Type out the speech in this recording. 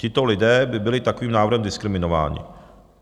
Tito lidé by byli takovým návrhem diskriminováni.